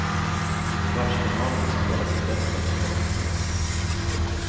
Kvartsfinalerna spelas i bäst av tre matcher.